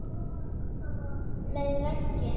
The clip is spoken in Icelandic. Með veggjum